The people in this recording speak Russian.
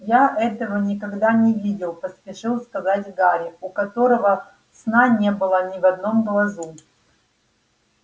я этого никогда не видел поспешил сказать гарри у которого сна не было ни в одном глазу